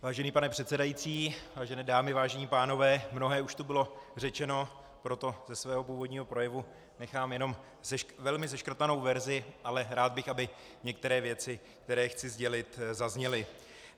Vážený pane předsedající, vážené dámy, vážení pánové, mnohé už tu bylo řečeno, proto ze svého původního projevu nechám jenom velmi seškrtanou verzi, ale rád bych, aby některé věci, které chci sdělit, zazněly.